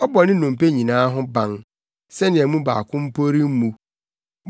ɔbɔ ne nnompe nyinaa ho ban, sɛnea mu baako mpo mu remmu.